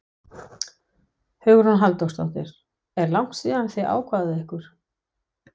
Hugrún Halldórsdóttir: Er langt síðan þið ákváðuð ykkur?